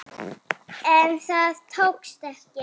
En það tókst ekki.